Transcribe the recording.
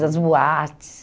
Das boates.